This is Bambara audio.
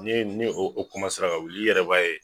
Ne ne o kɔmasera ka wuli i yɛrɛ b'a ye